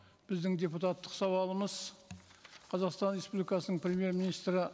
біздің депутаттық сауалымыз қазақстан республикасының премьер министрі